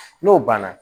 N'o banna